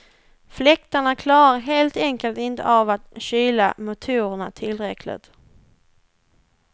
Fläktarna klarar helt enkelt inte av att kyla motorerna tillräckligt.